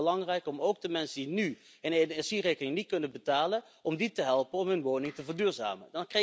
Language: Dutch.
Het is heel erg belangrijk om ook de mensen die nu hun energierekening niet kunnen betalen, te helpen om hun woning te verduurzamen.